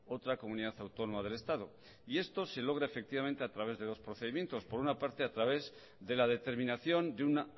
otra comunidad autónoma del estado y esto se logra efectivamente a través de dos procedimientos por un parte a través de la determinación de un